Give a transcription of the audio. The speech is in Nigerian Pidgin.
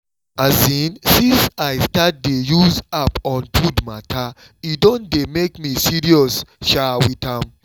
um since i start dey use app on food matter e don dey make me serious um with am